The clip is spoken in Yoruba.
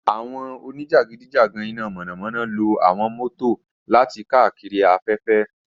Awọn onijakidijagan ina mọnamọna lo awọn mọto lati kaakiri afẹfẹ.